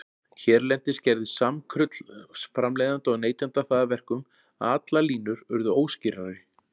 Hérlendis gerði samkrull framleiðenda og neytenda það að verkum, að allar línur urðu óskýrari.